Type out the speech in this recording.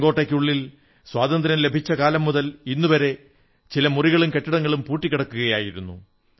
ചുവപ്പു കോട്ടയ്ക്കുള്ളിൽ സ്വാതന്ത്ര്യം ലഭിച്ച കാലം മുതൽ ഇന്നുവരെ ചില മുറികളും കെട്ടിടങ്ങളും പൂട്ടിക്കിടക്കുകയായിരുന്നു